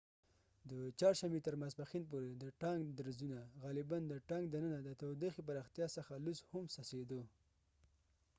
د چهارشنبې تر ماسپښین پورې د ټانک درزونو غالپاً د ټانک دننه د تودوخي پراختیا څخه لوس هم څڅیدو